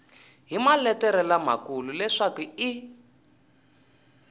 hi maletere lamakulu leswaku i